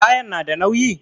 Kayan na da nauyi?